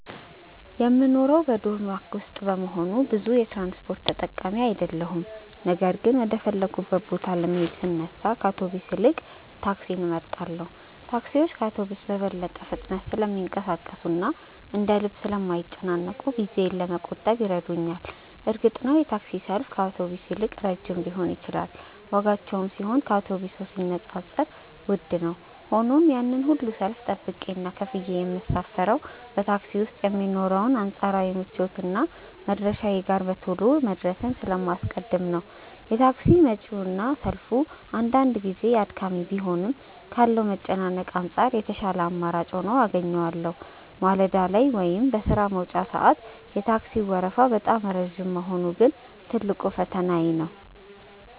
የምኖረው በዶርም ውስጥ በመሆኑ ብዙ የትራንስፖርት ተጠቃሚ አይደለሁም ነገር ግን ወደ ፈለግኩበት ቦታ ለመሄድ ስነሳ ከአውቶቡስ ይልቅ ታክሲን እመርጣለሁ። ታክሲዎች ከአውቶቡስ በበለጠ ፍጥነት ስለሚንቀሳቀሱና እንደ ልብ ስለማይጨናነቁ ጊዜዬን ለመቆጠብ ይረዱኛል። እርግጥ ነው የታክሲ ሰልፍ ከአውቶቡስ ይልቅ ረጅም ሊሆን ይችላል ዋጋቸውም ቢሆን ከአውቶቡስ ጋር ሲነጻጸር ውድ ነው። ሆኖም ግን ያንን ሁሉ ሰልፍ ጠብቄና ከፍዬ የምሳፈረው በታክሲ ውስጥ የሚኖረውን አንጻራዊ ምቾትና መድረሻዬ ጋር በቶሎ መድረስን ስለማስቀድም ነው። የታክሲ ወጪውና ሰልፉ አንዳንድ ጊዜ አድካሚ ቢሆንም ካለው መጨናነቅ አንጻር የተሻለ አማራጭ ሆኖ አገኘዋለሁ። ማለዳ ላይ ወይም በሥራ መውጫ ሰዓት የታክሲው ወረፋ በጣም ረጅም መሆኑ ግን ትልቁ ፈተናዬ ነው።